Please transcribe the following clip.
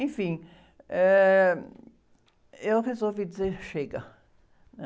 Enfim, eh, eu resolvi dizer, chega, né?